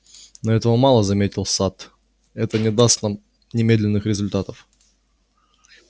но этого мало заметил сатт это не даст нам немедленных результатов